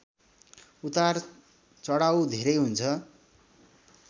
उतारचढाउ धेरै हुन्छ